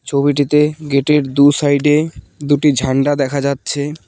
ছবিটিতে গেট -এর দু সাইড -এ দুটি ঝাণ্ডা দেখা যাচ্ছে।